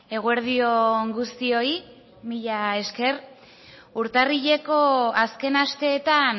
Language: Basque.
eguerdi on guztioi mila esker urtarrileko azken asteetan